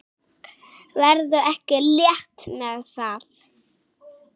Ferðu ekki létt með það?